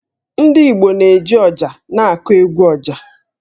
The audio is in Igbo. Ndị Igbo na-eji ọjà na-agụ 'egwu ọjà'.